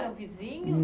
Eram vizinhos?